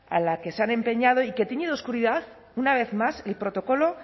a la que se han empeñado y que tiñe de oscuridad una vez más el protocolo